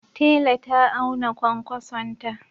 Tela ta auna kwankwasonta.